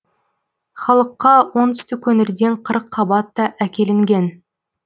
халыққа оңтүстік өңірден қырыққабат та әкелінген